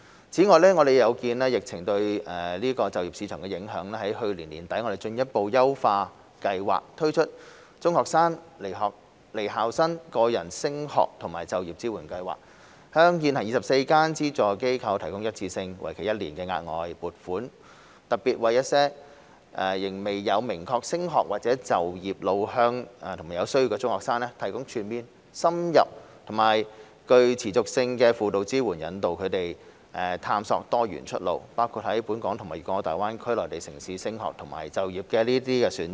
此外，有見及疫情對就業市場的影響，我們在去年年底進一步優化計劃，推出"中學生/離校生個人升學和就業支援服務"，向現行24間獲資助機構提供一次性、為期一年的額外撥款，特別為一些仍未有明確升學或就業路向和有需要的中學生，提供全面、深入和具持續性的輔導支援引導他們探索多元出路，包括在本港和粵港澳大灣區內地城市的升學和就業選擇。